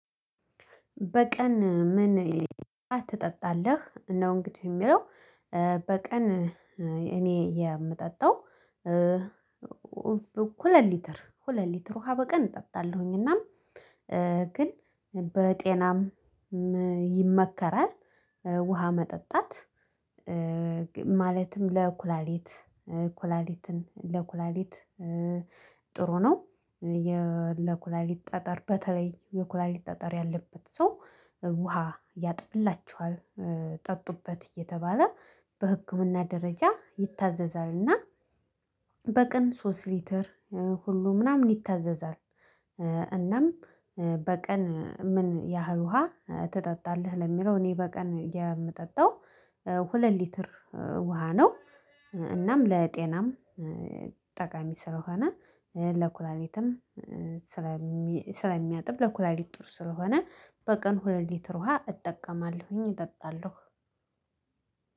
በቀን ምን ትጠጣለህ ነው እንግዲህ ሚለው? በቀን እኔ የምጠጣው ሁለት ሊትር ሁለት ሊትር ውሃ በቀን እጠጣለሁኝ። እና ግን በጤናም ይመከራል ውሃ መጠጣት። ማለትም ለኩላሊት ኩላሊትን ለኩላሊት ጥሩ ነው። ለኩላሊት ጠጠር በተለይ የኩላሊት ጠጠር ያለበት ሰው ውሃ ያጥብላችኋል ጠጡበት እየተባለ በህክምና ደረጃ ይታዘዛል። እና በቅን ሶስት ሊትር ሁሉ ምናምን ይታዘዛል። እናም በቀን ምን ያህል ውሃ ትጠጣለህ ለሚለው? እኔ በቀን የምጠጣው ሁለት ሊትር ውሃ ነው። እናም ለጤናም ጠቃሚ ስለሆነ ለኩላሌትም ስለሚያጥብ ለኩላሊት ጥሩ ስለሆነ በቀን ሁለት ሊትር ውሃ እጠቀማለሁኝ እጠጣለሁ።